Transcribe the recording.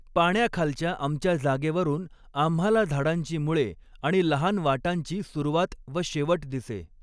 पाण्याखालच्या आमच्या जागेवरुन आम्हाला झाडांची मुळे आणि लहान वाटांची सुरवात व शेवट दिसे